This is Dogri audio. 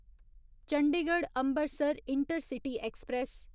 Chandigarh Ambarsar intercity express